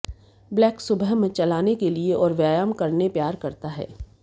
black सुबह में चलाने के लिए और व्यायाम करने प्यार करता है